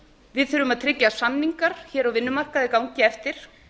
við þurfum að tryggja að samningar á vinnumarkaði gangi eftir